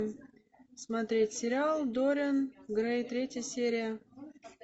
смотреть сериал дориан грей третья серия